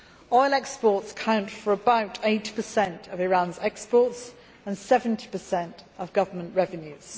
Oil exports count for about 80 percent of Iran's exports and 70 of government revenues.